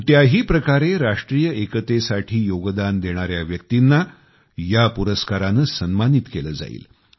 कोणत्याही प्रकारे राष्ट्रीय एकतेसाठी योगदान देणाऱ्या व्यक्तींना या पुरस्काराने सन्मानित केले जाईल